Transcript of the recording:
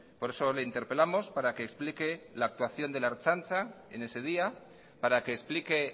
por eso le interpelamos para que explique la actuación de la ertzaintza en ese día para que explique